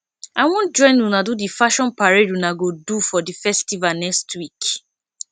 i wan join una do the fashion parade una go do for the festival next week